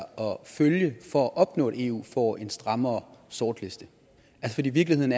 følge for at opnå at eu får en strammere sortlistning i virkeligheden